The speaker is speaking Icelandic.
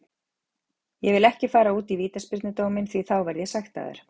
Ég vil ekki fara út í vítaspyrnudóminn því þá verð ég sektaður.